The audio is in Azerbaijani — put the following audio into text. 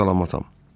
Sağ-salamatam.